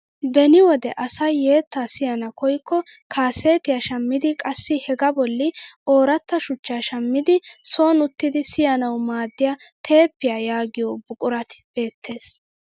Beni wode asay yettaa siyana koyikko kaasetiyaa shammidi qassi hegaa bolli ooratta shuchchaa shammidi soni uttidi siyanawu maaddiyaa teeppiyaa yagiyoo buqurat beettees.